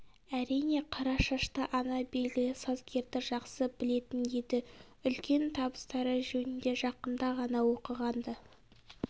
әрине қара шашты ана белгілі сазгерді жақсы білетін еді үлкен табыстары жөнінде жақында ғана оқыған-ды